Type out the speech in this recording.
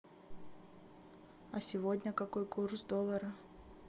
а сегодня какой курс доллара